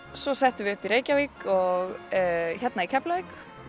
svo settum við upp í Reykjavík og hér í Keflavík